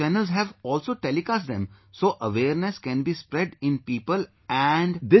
The channels have also telecast them so awareness can be spread in people and...